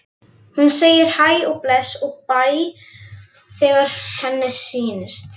Hún segir hæ og bless og bæ þegar henni sýnist!